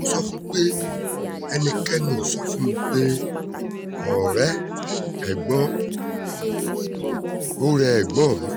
mo sọ fún un pé ẹnikẹ́ni ò sọ fún mi pé ó rẹ ẹ̀gbọ́n rẹ̀